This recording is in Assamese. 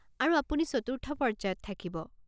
আৰু আপুনি চতুৰ্থ পৰ্য্যায়ত থাকিব।